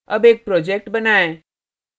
अब एक project बनाएँ